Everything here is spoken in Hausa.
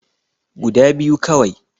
Guda biyu kawai